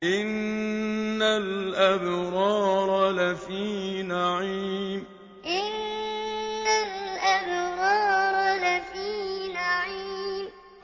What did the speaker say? إِنَّ الْأَبْرَارَ لَفِي نَعِيمٍ إِنَّ الْأَبْرَارَ لَفِي نَعِيمٍ